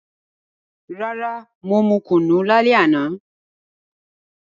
Rara, mo mu kunu lale ana.